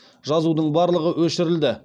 жазудың барлығы өшірілді